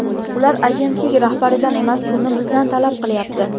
Ular agentlik rahbaridan emas, pulni bizdan talab qilyapti.